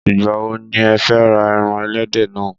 Ìgbà wo ni ẹ fẹ ra ẹran ẹlẹ́dẹ̀ náà?